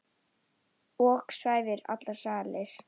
ok svæfir allar sakir.